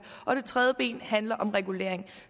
og det tredje ben handler om regulering